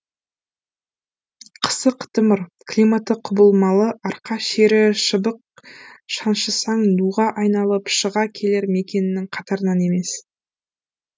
қысы қытымыр климаты құбылмалы арқа шері шыбық шаншысаң нуға айналып шыға келер мекеннің қатарынан емес